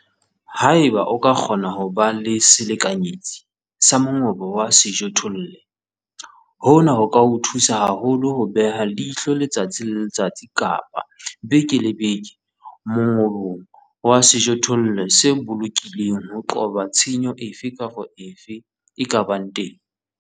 Haeba o ka kgona ho ba le selekanyetsi sa mongobo wa sejothollo, hona ho ka o thusa haholo ho beha leihlo letsatsi le letsatsi kapa beke le beke mongobong wa sejothollo se bolokilweng ho qoba tshenyo efe kapa efe e ka bang teng.